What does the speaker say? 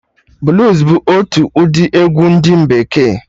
Bluus bụ otu ụdị egwu ndị bekee